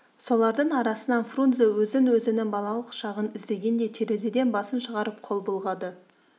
солардың арасынан фрунзе өзін өзінің балалық шағын іздегендей терезеден басын шығарып қол бұлғады